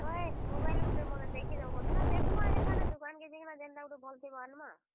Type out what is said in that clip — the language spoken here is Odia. ହଏ mobile ଗୁଟେ ମତେ ଦେଖିଦେବ ବୋଲୁଥିଲା। ଦେଖ୍ ମା ହେ ଦୁକାନ୍ କେ ଯିମା, ଯେନ୍ ଟା ଗୁଟେ ଭଲ୍ ଥିବା ଆନ୍ ମା।